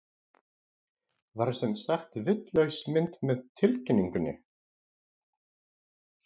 Var sem sagt vitlaus mynd með tilkynningunni?